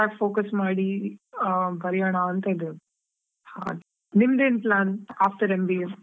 Focus ಮಾಡಿ ಬರೆಯೋಣಾ ಅಂತಾ ಇದ್ದೇವೆ, ಹಾಗೆ ನಿಮ್ದೇನ್ plan after MBA ?